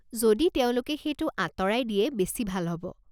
যদি তেওঁলোকে সেইটো আঁতৰাই দিয়ে বেছি ভাল হ'ব।